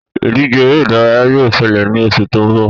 Ìdíje eré ìdárayá yóò ṣẹlẹ̀ ní oṣù tó ń bọ̀